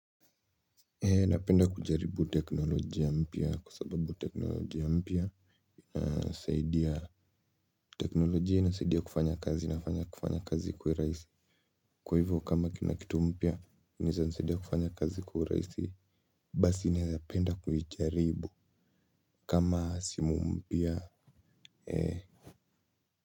Napenda kujaribu teknolojia mpya kusababu teknolojia mpya. Nasaidia teknolojia inasaidia kufanya kazi na kufanya kazi ikuwe raisi. Kwa hivyo kama kuna kitu mpya inaezanisaidia kufanya kazi kwa uraisi. Basi naezapenda kuijaribu kama simu mpya eh.